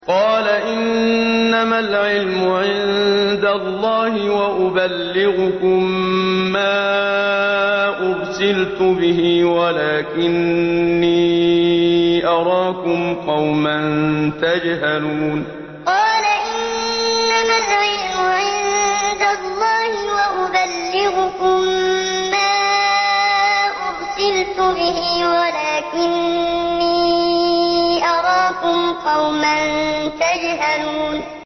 قَالَ إِنَّمَا الْعِلْمُ عِندَ اللَّهِ وَأُبَلِّغُكُم مَّا أُرْسِلْتُ بِهِ وَلَٰكِنِّي أَرَاكُمْ قَوْمًا تَجْهَلُونَ قَالَ إِنَّمَا الْعِلْمُ عِندَ اللَّهِ وَأُبَلِّغُكُم مَّا أُرْسِلْتُ بِهِ وَلَٰكِنِّي أَرَاكُمْ قَوْمًا تَجْهَلُونَ